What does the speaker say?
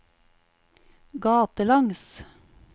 gatelangs